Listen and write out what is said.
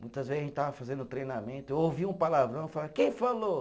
Muitas vezes a gente estava fazendo treinamento, eu ouvia um palavrão e falava, quem falou?